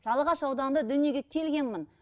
жалағаш ауданында дүниеге келгенмін